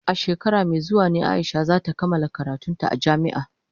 A shekara mai zuwa ne Aisha za ta kammala karantun ta a jami'a.